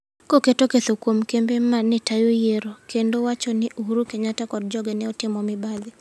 Koketo ketho kuom kembe ma ne tayo yiero, kendo wacho ni Uhuru Kenyatta kod joge ne otimo mibadhi.